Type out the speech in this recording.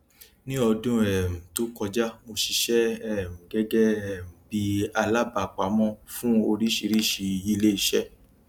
ní ọdún um to kọjá mo ṣiṣẹ um gẹgẹ um bí alábàápamọ fún oríṣìíríṣìí iléiṣẹ